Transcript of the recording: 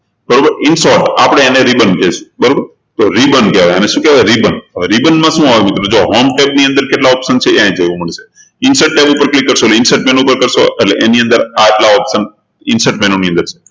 બરોબર in short આપણે એને ribbon કહે છે તો ribbon કહેવાય આને શું કહેવાય ribbon તો હવે ribbon માં શું આવે મિત્રો જુઓ home tab ની અંદર કેટલા option છે એ અહિયાં જોવા મળ્યું insert tab ઉપર click કરશો એટલે એની અંદર આટલા optioninsert menu ની અંદર